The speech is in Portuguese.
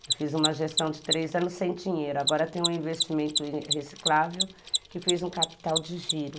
Eu fiz uma gestão de três anos sem dinheiro, agora tenho um investimento reciclável que fez um capital de giro.